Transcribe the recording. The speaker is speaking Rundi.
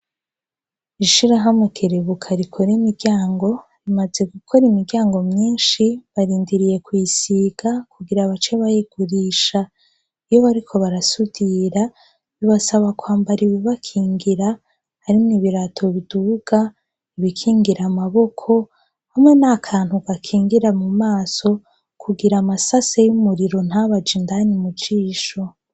Ishirahamwe kerebuka rikora imiryango, rimaze gukora imiryango myinshi barindiriye kuyisiga kugira bace bayigurisha. Iyo bariko barasudira bibasaba kwambara ibibakingira, harimwo ibirato biduga, ibikingira amaboko hamwe n'akantu gakingira mu maso kugira amasase y'umuriro ntabaje indani mu jisho.